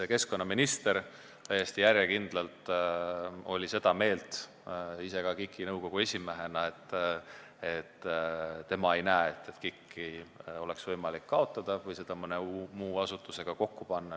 Keskkonnaminister, kes on ka KIK-i nõukogu esimees, on täiesti järjekindlalt olnud seda meelt, et tema ei näe, et KIK-i oleks võimalik kaotada või mõne muu asutusega kokku panna.